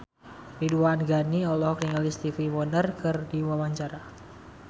Ridwan Ghani olohok ningali Stevie Wonder keur diwawancara